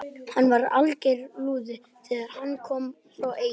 Hann var alger lúði þegar hann kom frá Eyjum.